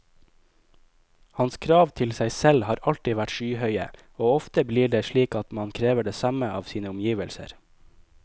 Hans krav til seg selv har alltid vært skyhøye, og ofte blir det slik at man krever det samme av sine omgivelser.